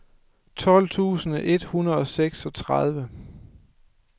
tolv tusind et hundrede og seksogtredive